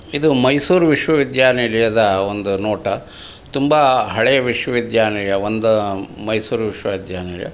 ಇದು ಮೈಸೂರ್ ವಿಶ್ವ ವಿದ್ಯಾನಿಲಯದ ಒಂದು ನೋಟ ತುಂಬಾ ಹಳೆಯ ವಿಶ್ವ ವಿದ್ಯಾನಿಲಯ ಮತ್ತೊಂದು ಮೈಸೂರ್ ವಿಶ್ವ ವಿದ್ಯಾನಿಲಯ.